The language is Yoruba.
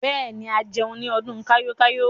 Bẹ́ẹ̀ ni, a jẹun ní ọdún kayo-kayo.